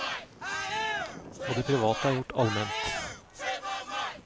Og det private er gjort alment.